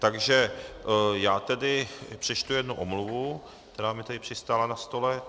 Takže já tedy přečtu jednu omluvu, která mi tady přistála na stole.